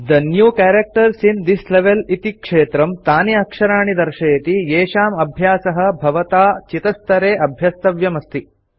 the new characters in this level इति क्षेत्रं तानि अक्षराणि दर्शयति येषां अभ्यासः भवता चितस्तरे अभ्यस्तव्यमस्ति